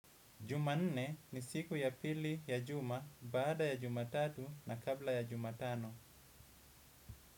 Juma nne ni siku ya pili ya juma baada ya jumatatu na kabla ya jumatano.